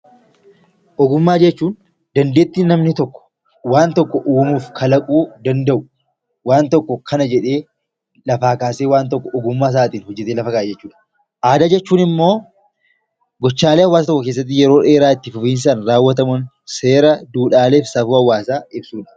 Ogummaa jechuun dandeettii namni tokko waan tokko uumuu fi kalaquu waan tokko kana jedhee lafaa kaasee ogummaasaatiin hojjatee lafa kaa'a jechuudha. Aadaa jechuun immoo gochaalee hawaasa tokko keessatti yeroo dheeraa itti fudhatuun raawwatamuun seera, duudhaalee fi safuu hawaasaa ibsudha.